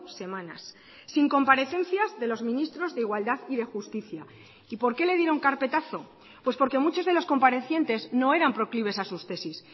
semanas sin comparecencias de los ministros de igualdad y de justicia y por qué le dieron carpetazo pues porque muchos de los comparecientes no eran proclives a sus tesis